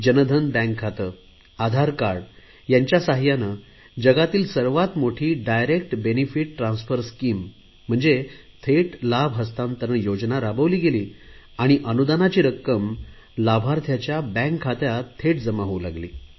Jan Dhan bank खाते Aadhaar card यांच्या सहाय्याने जगातील सर्वात मोठी डायरेक्ट बेनिफिट ट्रान्सफर स्कीम थेट लाभ हस्तांतरण योजना राबवली गेली आणि अनुदानाची रक्कम लाभार्थ्यांच्या बँक खात्यात जमा होऊ लागली